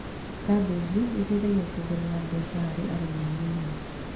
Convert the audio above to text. Kambĩji ĩteithagia kuongerera mbeca harĩ arĩmi anini